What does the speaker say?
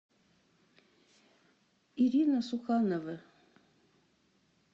ирина суханова